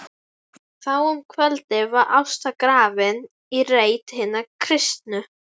Þá um kvöldið var Ásta grafin í reit hinna kristnu.